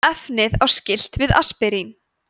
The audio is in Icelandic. efnið á skylt við aspirín